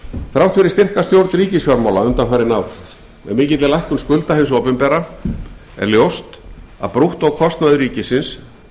þrátt fyrir styrka stjórn ríkisfjármála undanfarin ár með mikilli lækkun skulda hins opinbera er ljóst að brúttókostnaður ríkisins